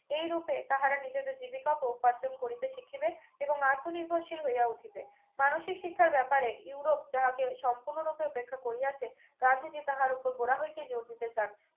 এই রূপে তাহারা নিজেদের জীবিকা ও উপার্জন করিতে শিখিবে এবং আত্মনির্ভরশীল হইয়া উঠিবে মানসিক শিক্ষার ব্যাপারে ইউরোপ যাহাকে সম্পূর্ণরূপে উপেক্ষা করিয়াছে গান্ধীজি তাহার উপর গোড়া হইতে জোর দিতে চান